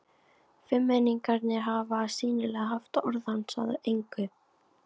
Fimmmenningarnir hafa sýnilega haft orð hans að engu.